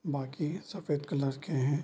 बाकी सफ़ेद कलर के हैं।